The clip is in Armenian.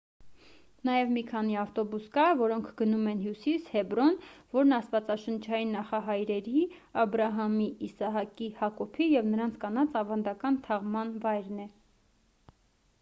նաև մի քանի ավտոբուս կա որոնք գնում են հյուսիս հեբրոն որն աստվածաշնչային նախահայրերի աբրահամի իսահակի հակոբի և նրանց կանանց ավանդական թաղման վայրն է